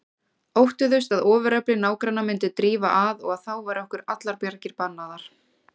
Óttuðust að ofurefli nágranna myndi drífa að og að þá væru okkur allar bjargir bannaðar.